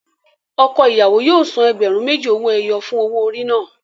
Ọkọ ìyàwó yóò san ẹgbẹ̀rún méjì owó ẹyọ fún owó orí náà.